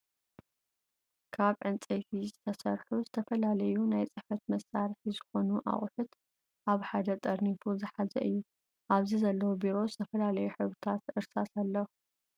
ካብ ዕንፀይቲ ዝተሰርሑ ዝተፈላለዩ ናይ ፅሕፈት መሳሪሒ ዝኮኑ ኣቁሑት ኣብ ሓደ ጠርኒፉ ዝሓዘ እዩ። ኣብዚ ዘለው ቢሮ፣ ዝተፈላለዩ ሕብርታት እርሳስ፣ ኣለው።